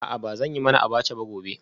A'a ba zan yi mana abacha gobe ba